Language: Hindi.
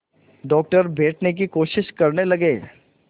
डॉक्टर बैठने की कोशिश करने लगे